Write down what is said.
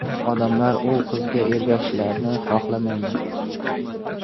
Odamlar u qizga ergashishlarini xolamayman.